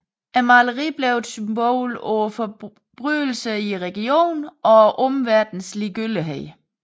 Maleriet blev et symbol på forbrydelserne i regionen og omverdenens ligegyldighed